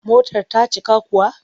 Motar ta cika kuwa?